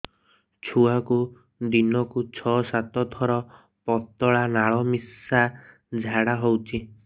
ଛୁଆକୁ ଦିନକୁ ଛଅ ସାତ ଥର ପତଳା ନାଳ ମିଶା ଝାଡ଼ା ହଉଚି